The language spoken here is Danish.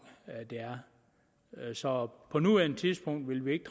af det så på nuværende tidspunkt vil vi ikke